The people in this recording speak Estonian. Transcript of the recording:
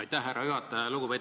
Aitäh, härra juhataja!